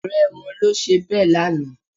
Ọ̀rẹ́ wọn ló ṣe bẹ́ẹ̀ lánàá